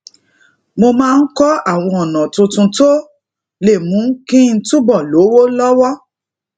mo máa ń kó àwọn ona tuntun tó lè mú kí n túbò lówó lówó